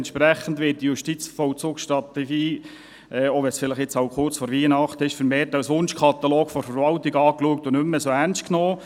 Entsprechend wird die Justizvollzugsstrategie, auch wenn es jetzt kurz vor Weihnachten ist, vermehrt als Wunschkatalog der Verwaltung angesehen und nicht mehr so ernst genommen.